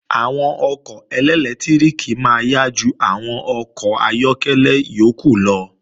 Àwọn ọkọ̀ ẹlẹ́lẹtíríkì máa yá ju àwọn àwọn ọkọ̀ ayọ́kẹ́lẹ́ yókù lọ